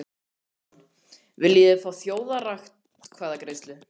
Þorbjörn Þórðarson: Viljið þið fá þjóðaratkvæðagreiðslu?